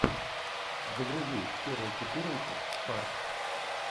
загрузи серия четырнадцать фарт